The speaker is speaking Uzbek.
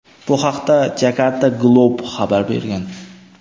Bu haqda "Jakarta Globe" xabar bergan.